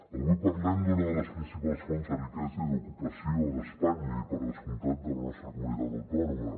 avui parlem d’una de les principals fonts de riquesa i d’ocupació d’espanya i per descomptat de la nostra comunitat autònoma